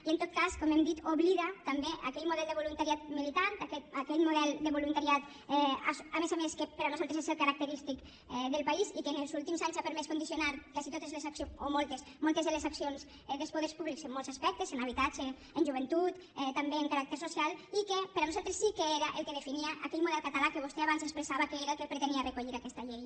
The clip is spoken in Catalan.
i en tot cas com hem dit oblida també aquell model de voluntariat militant aquell model de voluntariat a més a més que per nosaltres és el característic del país i que en els últims anys ha permès condicionar quasi totes les accions o moltes moltes de les accions dels poders públics en molts aspectes en habitatge en joventut també en caràcter social i que per nosaltres sí que era el que definia aquell model català que vostè abans expressava que era el que pretenia recollir aquesta llei